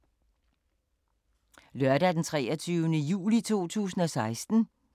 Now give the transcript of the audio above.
Lørdag d. 23. juli 2016